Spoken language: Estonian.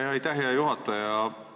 Aitäh, hea juhataja!